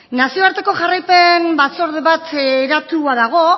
nazioarteko jarraipen batzorde bat eratua dago